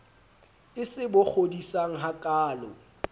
e se bo kgodisang hakaalo